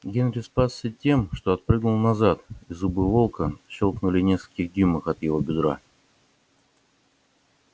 генри спасся тем что отпрыгнул назад и зубы волка щёлкнули в нескольких дюймах от его бедра